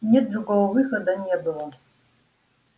нет другого выхода не было